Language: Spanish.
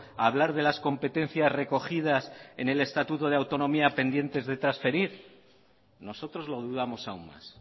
a hablar de las competencias recogidas en el estatuto de autonomía pendiente de transferir nosotros lo dudamos aún más